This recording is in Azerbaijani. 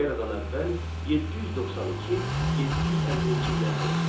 Eradan əvvəl 792, 750-ci illərdə yaşamışdır.